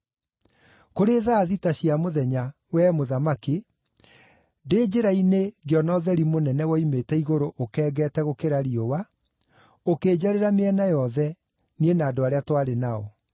Kũrĩ thaa thita cia mũthenya, wee Mũthamaki, ndĩ njĩra-inĩ ngĩona ũtheri mũnene woimĩte igũrũ ũkengete gũkĩra riũa, ũkĩnjarĩra mĩena yothe, niĩ na andũ arĩa twarĩ nao.